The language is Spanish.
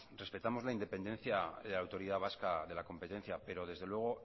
respetamos la independencia de la autoridad vasca de la competencia pero desde luego